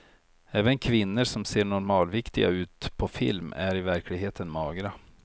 Även kvinnor som ser normalviktiga ut på film är i verkligheten magra.